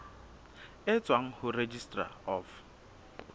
e tswang ho registrar of